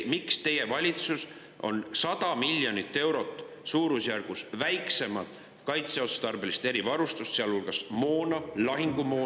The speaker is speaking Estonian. Miks teie valitsus soetab suurusjärgus 100 miljonit eurot vähem kaitseotstarbelist erivarustust, sealhulgas moona, lahingumoona?